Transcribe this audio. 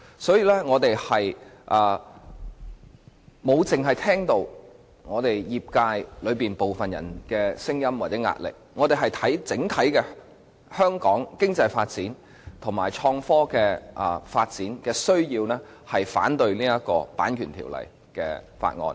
所以，我們沒有只聽取部分業界的聲音或壓力，我們着眼整體香港經濟發展及創科發展的需要，故此反對《條例草案》。